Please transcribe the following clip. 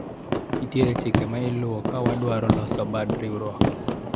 nitiere chike ma iluwo ka wadwaro loso bad riwruok